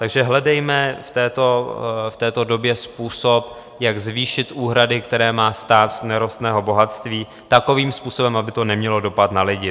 Takže hledejme v této době způsob, jak zvýšit úhrady, které má stát z nerostného bohatství, takovým způsobem, aby to nemělo dopad na lidi.